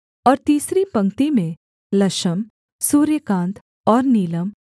और तीसरी पंक्ति में लशम सूर्यकांत और नीलम